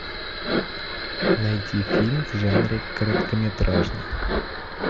найти фильм в жанре короткометражный